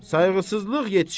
Sayğısızlıq yetişir!